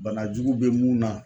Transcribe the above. Banajugu bɛ mun na.